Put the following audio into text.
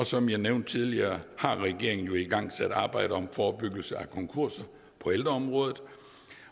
som jeg nævnte tidligere har regeringen igangsat et arbejde om forebyggelse af konkurser på ældreområdet